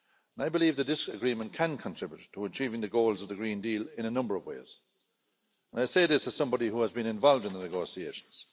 I believe that this agreement can contribute to achieving the goals of the Green Deal in a number of ways, and I say this as somebody who has been involved in the negotiations.